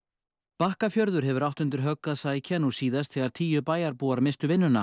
Bakkafjörður hefur átt undir högg að sækja nú síðast þegar tíu bæjarbúar misstu vinnu